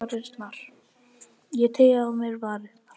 Ég teygi á mér varirnar.